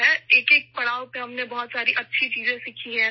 ہر مرحلے پر، ہم نے بہت اچھی چیزیں سیکھی ہیں